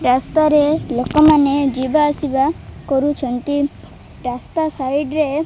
ରାସ୍ତାରେ ଲୋକମାନେ ଯିବା ଆସିବା କରୁଛନ୍ତି ରାସ୍ତା ସାଇଟ୍ ରେ --